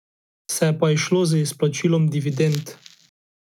Se je pa izšlo z izplačilom dividend.